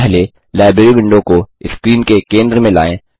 पहले library window को screen के केंद्र में लाएँ